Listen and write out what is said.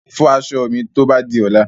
Fọ aṣọ mi tó bá di ọ̀la.